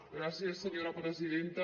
gràcies senyora presidenta